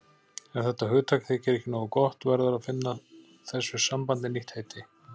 Ef þetta hugtak þykir ekki nógu gott verður að finna þessu sambandi nýtt heiti.